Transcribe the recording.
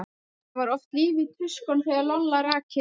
Það var oft líf í tuskunum þegar Lolla rak inn nefið.